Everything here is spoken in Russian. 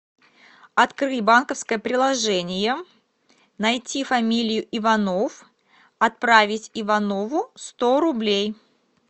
открыть банковское приложение найти фамилию иванов отправить иванову сто рублей